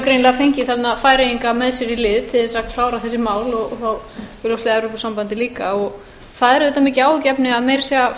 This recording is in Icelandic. greinilega fengið þarna færeyinga með sér í lið til þess að klára þessi mál og augljóslega evrópusambandið líka það er auðvitað mikið áhyggjuefni að meira að segja